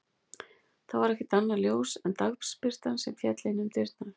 Þá var ekkert annað ljós en dagsbirtan sem féll inn um dyrnar.